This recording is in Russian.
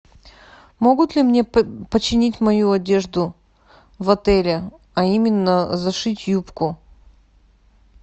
могут ли мне починить мою одежду в отеле а именно зашить юбку